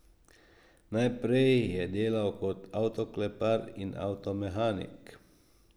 Najprej je delal kot avtoklepar in avtomehanik.